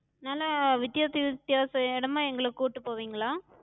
நல்லா வித்யாச வித்தியாச இடமா எங்கள கூட்டு போவிங்களா?